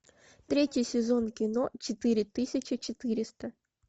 третий сезон кино четыре тысячи четыреста